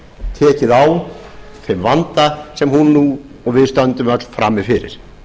tekið á þeim vanda sem hún nú og við stöndum öll frammi fyrir